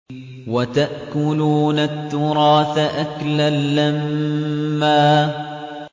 وَتَأْكُلُونَ التُّرَاثَ أَكْلًا لَّمًّا